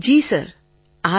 Tarannum Khan ji sir